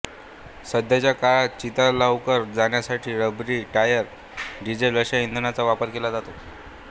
सध्याच्या काळात चिता लवकर जाळण्यासाठी रबरी टायर डिझेल अशा इंधनांचा वापर केला जातो